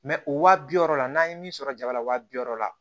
o wa bi wɔɔrɔ la n'an ye min sɔrɔ jaba la waa bi wɔɔrɔ la